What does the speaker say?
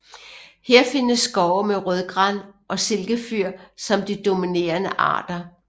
Her findes skove med rødgran og silkefyr som de dominerende arter